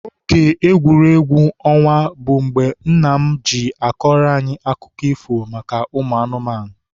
Oge egwuregwu ọnwa bụ mgbe nna m ji akọrọ anyị akụkọ ifo maka ụmụ anụmanụ.